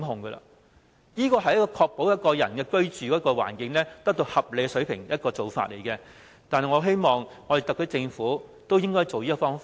這做法可確保一個人的居住環境得到合理水平，我希望特區政府都會仿效。